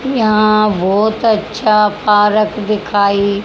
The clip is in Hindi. यहां बहोत अच्छा पारक दिखाइ--